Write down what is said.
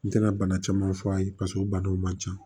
N tɛna bana caman f'a ye paseke o banaw man ca